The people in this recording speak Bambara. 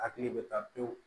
Hakili bɛ taa pewu